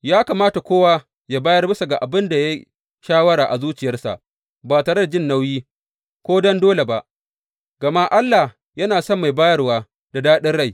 Ya kamata kowa yă bayar bisa ga abin da ya yi shawara a zuciyarsa, ba tare da jin nauyi ko don dole ba, gama Allah yana son mai bayarwa da daɗin rai.